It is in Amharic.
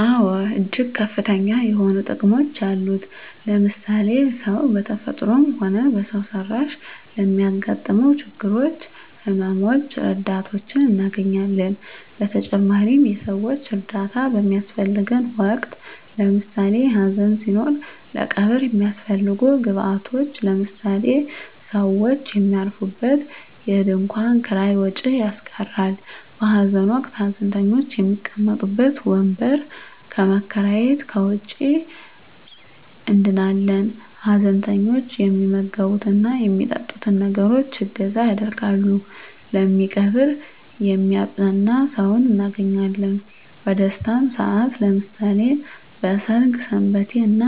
አወ እጅግ ከፍተኛ የሆኑ ጥቅሞች አሉት ለምሳሌ ሰው በተፈጥሮም ሆነ በሰው ሰራሽ ለሚያገጥመው ችግሮች ህመመ ሞች ረዳቶችን እናገኛለን በተጨማሪም የሰወች እርዳታ በሚያሰፈልገን ወቅት ለምሳሌ ሀዘን ሲኖር ለቀብር የሚያሰፈልጉ ግብአቶች ለምሳሌ ሰውች የሚያርፉበት የድንኮን ኪራይ ወጭ ያስቀራል በሀዘን ወቅት ሀዘንተኞች የሚቀመጡበት ወንበር ከመከራየት ከወጭ እንድናለን ሀዘንተኞች የሚመገብት እና የሚጠጡትን ነገሮች እገዛ ያደርጋሉ የሚቀብር የሚያጵናና ሰውን እናገኛለን በደስታም ሰአት ለምሳሌ በሰርግ ሰንበቴ እና